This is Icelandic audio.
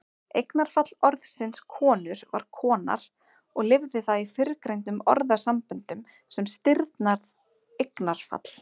Eignarfall orðsins konur var konar og lifir það í fyrrgreindum orðasamböndum sem stirðnað eignarfall.